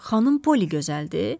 Xanım Poli gözəldir?